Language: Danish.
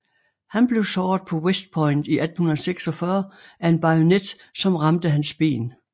Han blev såret på West Point i 1846 af en bajonet som ramte hans ben